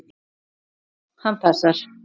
Já, hann passar.